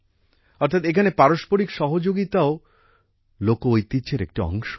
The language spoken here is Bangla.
অর্থাৎ এখানে পারস্পরিক সহযোগিতাও লোকঐতিহ্যের একটি অংশ